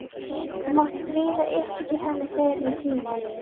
Þú mátt skríða upp í til hennar þegar þér sýnist.